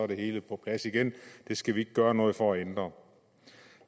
det hele på plads igen det skal vi ikke gøre noget for at ændre